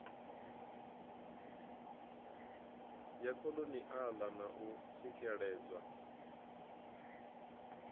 ya kholoniala na u tsikeledzwa